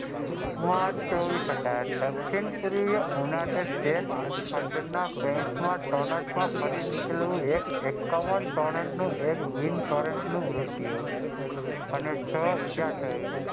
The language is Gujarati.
માર્ચ ચોવીસ અઢાર દક્ષિણ પુરી યુનિટેડ સ્ટેટ્સ માં ટોરેન્ટ નું એકકાવાન ટોરેન્ટ નું અને છ ઇજા થયેલ.